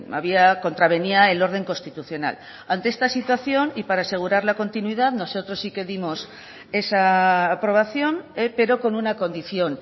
había contravenía el orden constitucional ante esta situación y para asegurar la continuidad nosotros sí que dimos esa aprobación pero con una condición